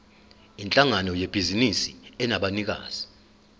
yinhlangano yebhizinisi enabanikazi